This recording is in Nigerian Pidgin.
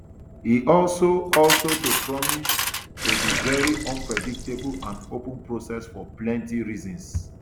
e also also to promise to dey very unpredictable and open process for plenty reasons